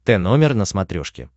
тномер на смотрешке